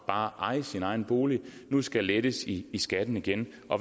bare at eje sin egen bolig nu skal lettes i skatten igen